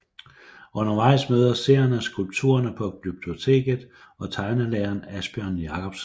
Undervejs møder seerne skulpturerne på Glyptoteket og tegnelæreren Asbjørn Jakobsen